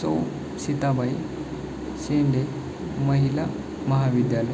स्व सीताबाई शेंडे महिला महाविद्यालय--